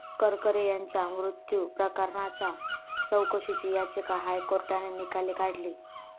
करकरे यांच्या मृत्यू प्रकरणाच्या चौकशीची याचिका हायकोर्टाने निकाली काढली